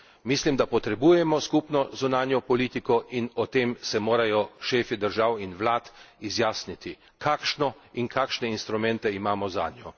Mislim, da potrebujemo skupno zunanjo politiko in o tem se morajo šefi držav in vlad izjasniti, kakšno in kakšne instrumente imamo zanjo.